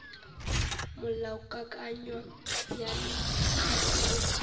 molaokakanywa bjalo ka ge o